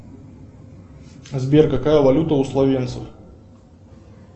сбер какая валюта у словенцев